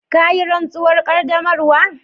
Ka yi rantsuwar qaddamarwa?